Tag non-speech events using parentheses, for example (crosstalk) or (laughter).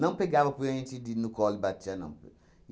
Não pegava (unintelligible) de no colo e batia, não.